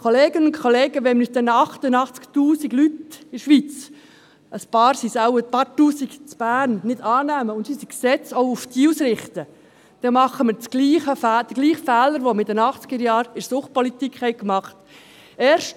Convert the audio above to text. Kolleginnen und Kollegen, wenn wir uns den 88 000 Leuten in der Schweiz – ein paar Tausend sind es wohl auch in Bern – nicht annehmen und unsere Gesetze nicht auf diese ausrichten, dann machen wir denselben Fehler, den wir in den Achtzigerjahren in der Suchtpolitik gemacht haben.